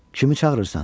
Kimi çağırırsan?